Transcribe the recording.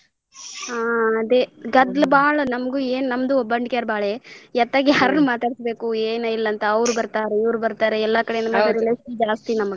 ಹಾಂ ಅದೆ ಗದ್ಲ ಬಾಳ ನಮಗೂ ಏನ ನಮ್ದು ಒಬ್ಬಂಟಿಗ್ಯಾರ ಬಾಳೆ ಏತಾಗ ಯಾರನ್ನ ಮಾತಾಡ್ಸಬೇಕು ಏನ್ ಇಲ್ಲ ಅಂತ ಅವರ ಬರ್ತಾರ ಇವ್ರ ಬರ್ತಾರ ಎಲ್ಲಾ ಕಡೆ .